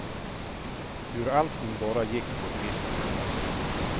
Hur allting bara gick på ett visst sätt.